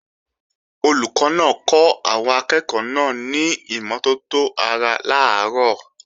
Olùkọ́ náà kọ́ àwọn akẹ́ẹ̀kọ́ náà ní ìmọ́tótó ara làárọ̀